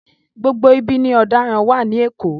Gbogbo ibi ni ọ̀daràn wà ní Èkó.